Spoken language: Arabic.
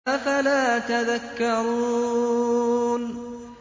أَفَلَا تَذَكَّرُونَ